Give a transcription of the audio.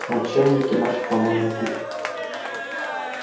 начальнички нашей помойной кучи